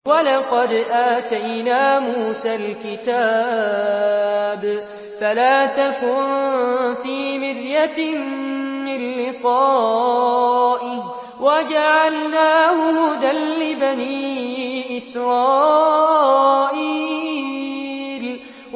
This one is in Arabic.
وَلَقَدْ آتَيْنَا مُوسَى الْكِتَابَ فَلَا تَكُن فِي مِرْيَةٍ مِّن لِّقَائِهِ ۖ وَجَعَلْنَاهُ هُدًى لِّبَنِي إِسْرَائِيلَ